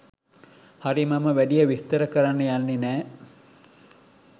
හරි මම වැඩිය විස්තර කරන්න යන්නේ නෑ